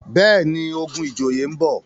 béèni, ogun ìjòyè nbọ.